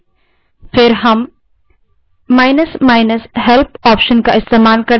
तब हम –help option का इस्तेमाल करते हैं